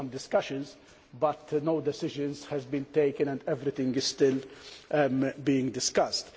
There were some discussions but no decisions have been taken and everything is still being discussed.